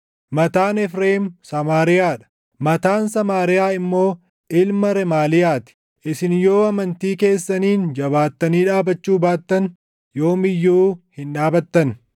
Mataan Efreem Samaariyaa dha; mataan Samaariyaa immoo ilma Remaaliyaa ti. Isin yoo amantii keessaniin jabaattanii dhaabachuu baattan; yoom iyyuu hin dhaabattan.’ ”